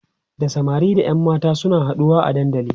da samari da ƴan mata suna haɗuwa a dandali